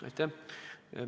Aitäh!